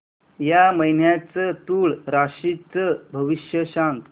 या महिन्याचं तूळ राशीचं भविष्य सांग